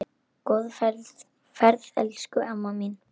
Góða ferð, elsku amma mín.